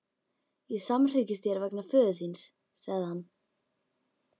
Ég samhryggist þér vegna föður þíns, sagði hann.